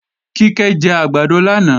Kíkẹ́ jẹ àgbàdo lánàá